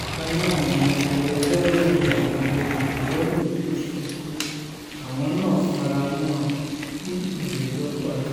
bákan náà ni agbẹjọ́rò àwọn olùjẹ́jọ́ yòókù sọ pé àwọn náà fara mọ́ ọn kí ìgbẹ́jọ́ parí